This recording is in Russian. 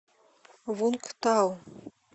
вунгтау